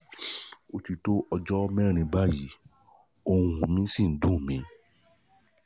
ó ti tó ọjọ́ mẹ́rin báyìí ohùn mi ṣì ń dùn mí